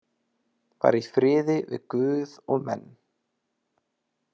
Var í friði við guð og menn.